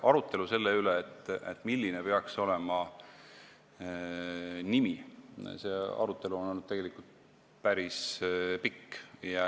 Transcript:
Arutelu selle üle, milline peaks see nimi olema, on olnud tegelikult päris pikk.